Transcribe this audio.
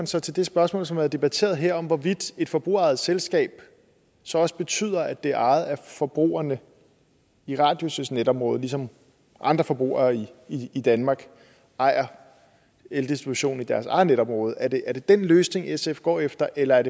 så til det spørgsmål som har været debatteret her om hvorvidt et forbrugerejet selskab så også betyder at det er ejet af forbrugerne i radius netområde ligesom andre forbrugere i i danmark ejer eldistributionen i deres eget netområde er det er det den løsning sf går efter eller er